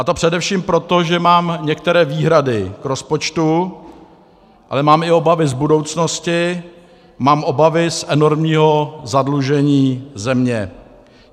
A to především proto, že mám některé výhrady k rozpočtu, ale mám i obavy z budoucnosti, mám obavy z enormního zadlužení země.